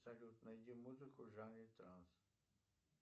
салют найди музыку в жанре транс